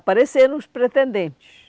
Apareceram os pretendentes.